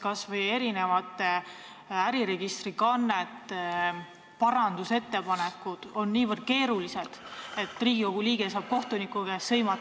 Kas või äriregistri kannete parandusettepanekud on niivõrd keerulised, et Riigikogu liige saab kohtuniku käest sõimata.